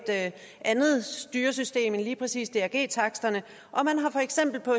andet styresystem end lige præcis drg taksterne og man har for eksempel på